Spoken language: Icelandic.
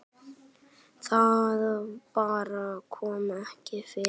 Það bara kom ekki fyrir.